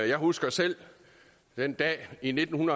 jeg husker selv den dag i nitten